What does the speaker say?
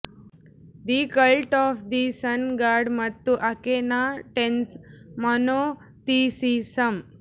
the cult of the sun god ಮತ್ತು Akhenaten's monotheism